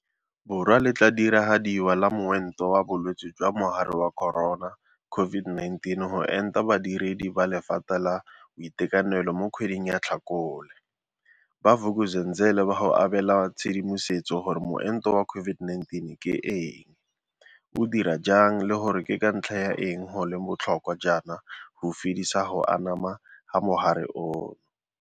Borwa le tla diragadiwa la moento wa bolwetse jwa Mogare wa Corona, COVID-19, go enta badiredi ba lephata la boitekanelo mo kgweding ya Tlhakole, ba Vuk'uzenzele ba go abe la tshedimosetso gore moento wa COVID-19 ke eng, o dira jang le gore ke ka ntlha ya eng go le bo tlhokwa jaana go fedisa go anama ga mogare ono.